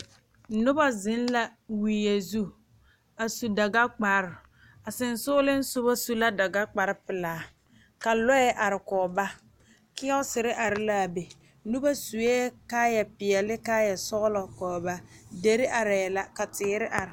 Noba zeŋ la wie zu a su dagakpare a seŋsogleŋ soba su la dagakparepelaa ka lɔɛ are kɔge ba kiiyɔɔsiri are la a be noba sue kaayapeɛlle ne kaayasɔglɔ kɔge ba deri arɛɛ la ka teere are.